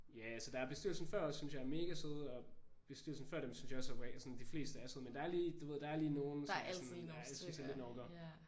Ja altså der er bestyrelsen før os synes jeg er mega søde og bestyrelsen før dem synes jeg også sådan de fleste er søde men der er lige du ved der er lige nogen som jeg sådan lidt synes er lidt en orker